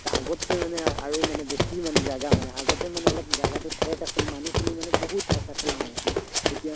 আগতকে মানে আৰু মানে বেছি মানে জাগা মানে আগতে মানে অলপ জাগাটো ঠেক আছিল, মানুহ খিনি মানে বহুত হেচা ঠেলা হৈ আছিলে এতিয়া